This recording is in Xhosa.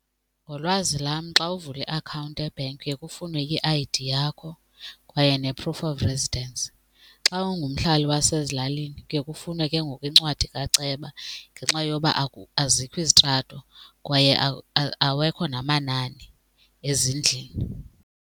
Ngolwazi lam xa uvula iakhawunti ebhenki kuye kufunwe i-I_D yakho kwaye ne-proof of residence. Xa ungumhlali wasezilalini kuye kufunwe ke ngoku incwadi kaceba ngenxa yoba azikho izitrato kwaye awekho namanani ezindlini.